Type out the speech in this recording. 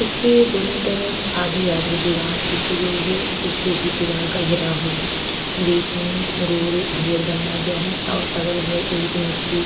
इसके दोनों तरफ आधी-आधी दिवाल खिची गई है। पीछे भी दिवाल का घेराओ है। बीच में गोल घेर बनाया गया है और अगल बगल ईंट मिट्टी --